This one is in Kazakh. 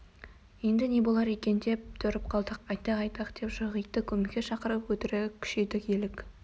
енді не болар екен деп тұрып қалдық айтақ-айтақ деп жоқ итті көмекке шақырып өтірік күшейдік елік